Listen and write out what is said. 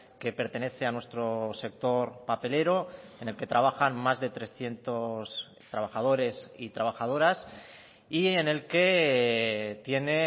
que pertenece a nuestro sector papelero en el que trabajan más de trescientos trabajadores y trabajadoras y en el que tiene